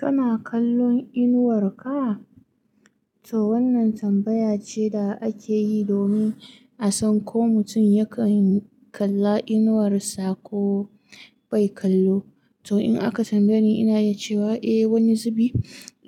Kana kallon inuwar ka? To wannan tambaya ce da ake yi domin a san ko mutum yakan kalla inuwarsa ko bai kallo. To in aka tambaye ni, ina yi cewa eh, wani zubi